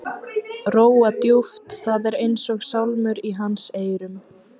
Róa djúpt, það er eins og sálmur í hans eyrum.